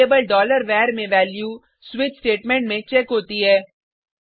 variable var में value switch statement में check होती है